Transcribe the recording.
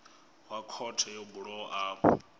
wa khothe yo bulwaho afho